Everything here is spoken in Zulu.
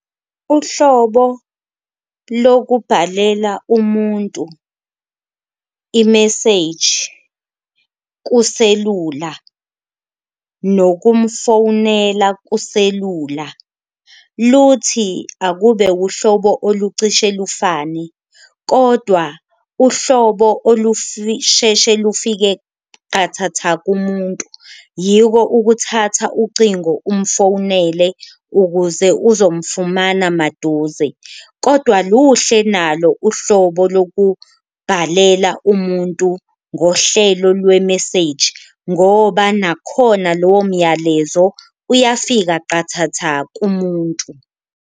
Uhlobo lokubhalela umuntu imeseji kuselula, nokumfowunela kuselula luthi akube uhlobo olucishe lufane kodwa uhlobo lufike qathatha kumuntu yiko ukuthatha ucingo umfowunele ukuze uzomfumana maduze. Kodwa luhle nalo uhlobo lokubhalela umuntu ngohlelo lwemeseji ngoba nakhona lowo myalezo uyafika qathatha kumuntu.